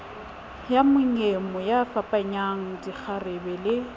ya monyemo yafapanyang dikgarebe le